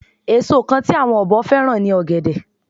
Èso kan tí àwọn ọ̀bọ fẹ́ràn ni ọ̀gẹ̀dẹ̀